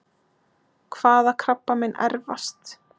Hvaða krabbamein erfast?